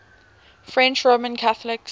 french roman catholics